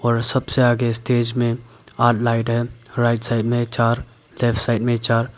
और सबसे आगे स्टेज में लाइट है राइट साइड में चार लेफ्ट साइड में चार।